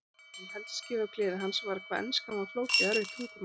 Það sem helst skyggði á gleði hans var hvað enskan var flókið og erfitt tungumál.